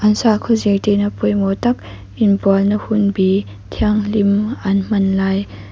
an sakhaw zirtir na pawimawh tak inbual na hun bi thianghlim an hman lai--